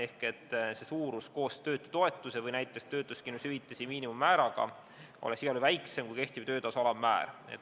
Selle suurus koos töötutoetuse või näiteks töötuskindlustushüvitise miinimummääraga peaks olema igal juhul väiksem kui kehtiv töötasu alammäär.